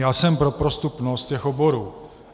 Já jsem pro prostupnost těch oborů.